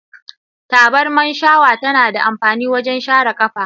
Tabarma shawa tana da amfani wajen share kafa.